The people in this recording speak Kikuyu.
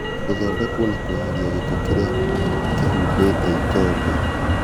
Gũthondekwo na kweheria gĩko kĩrĩa kĩhumbĩte ikongo .